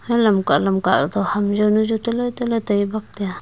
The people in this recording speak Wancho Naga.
hai lamka lamka to ham zaonu chu taale taale tai bak taiya.